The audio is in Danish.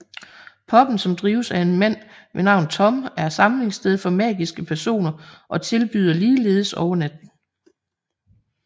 Pubben som drives af en mand ved navn Tom er samlingssted for magiske personer og tilbyder ligeledes overnatning